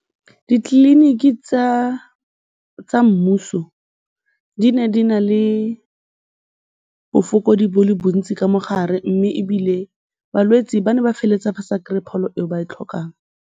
Ditleliniki tsa mmuso di ne di na le bofokodi bo le bontsi ka mogare mme ebile balwetsi ba ne ba feleletsa ba sa kry-e pholo e ba e tlhokang.